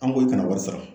An b'o kana wari sara